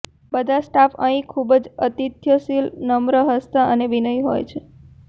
બધા સ્ટાફ અહીં ખૂબ જ અતિથ્યશીલ નમ્ર હસતાં અને વિનયી હોય છે